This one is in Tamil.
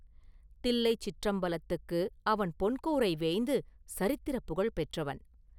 தில்லைச் சிற்றம்பலத்துக்கு அவன் பொன் கூரை வேய்ந்து சரித்திரப் புகழ்பெற்றவன்.